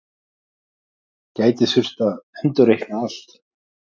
Gæti þurft að endurreikna allt